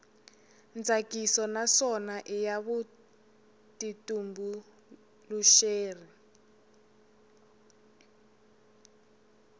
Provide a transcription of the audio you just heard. tsakisa naswona i ya vutitumbuluxeri